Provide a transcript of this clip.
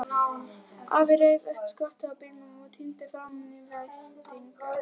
Afinn reif upp skottið á bílnum og tíndi fram veiðistangir.